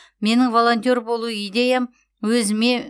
менің волонтер болу идеям өзіме